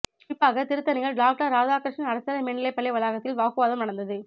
குறிப்பாக திருத்தணியில் டாக்டர் ராதாகிருஷ்ணன் அரசினர் மேல்நிலை பள்ளி வளாகத்தில் வாக்கு வாதம் நடந்தது